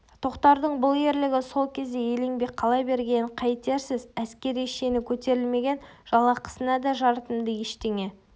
тоқтардың бұл ерлігі сол кезде еленбей қала бергенін қайтерсіз әскери шені көтерілмеген жалақысына да жарытымды ештеңе